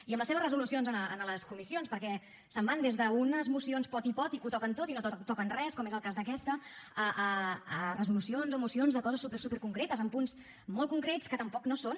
i amb les seves resolucions a les comissions perquè se’n van des d’unes mocions poti poti que ho toquen tot i no toquen res com és el cas d’aquesta a resolucions o mocions de coses súper súper concretes amb punts molt concrets que tampoc no són